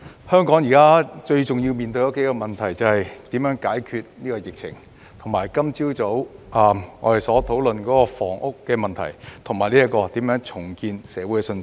香港現時面對的數個最重要問題，是解決疫情、我們今早討論的房屋問題，以及重建社會信心。